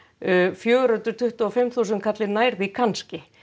fjögur hundruð tuttugu og fimm þúsund kallinn nær því kannski